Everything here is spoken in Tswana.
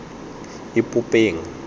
ipopeng